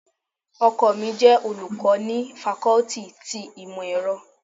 Ọkọ mi jẹ olùkọ́ ni fakọ́tì ti Ìmọ̀-ẹrọ.